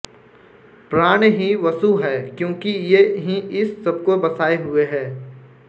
प्राण ही वसु हैं क्योंकि ये ही इस सबको बसाए हुए हैं